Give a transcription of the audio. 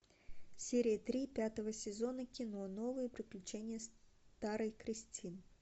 серия три пятого сезона кино новые приключения старой кристин